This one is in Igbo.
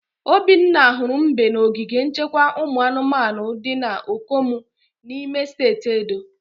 Obinna hụrụ mbe na ogige nchekwa ụmụ anụmanu di na Okomu n'ime steeti Edo.